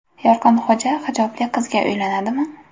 Yorqinxo‘ja hijobli qizga uylanadimi?